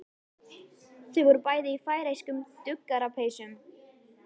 Þau voru bæði í færeyskum duggarapeysum.